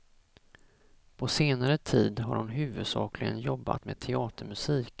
På senare tid har hon huvudsakligen jobbat med teatermusik.